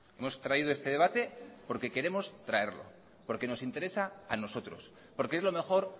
hemos traído este debate porque queremos traerlo porque nos interesa a nosotros porque es lo mejor